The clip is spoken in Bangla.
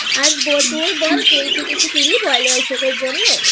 আর তোর বল তুই কি কিছু কিনলি পয়লা বৈশাখের জন্য?